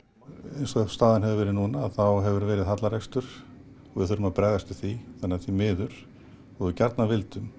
eins og staðan hefur verið núna þá hefur verið hallarekstur og við þurfum að bregðast við því þannig að því miður þó við gjarnan vildum